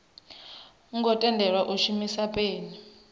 ngo tendelwa u shumisa peni